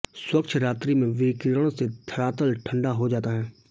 स्वच्छ रात्रि में विकिरण से धरातल ठंढा हो जाता है